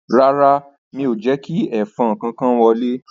Rárá, mi ò jẹ́ kí ẹ̀fọn kankan wọlé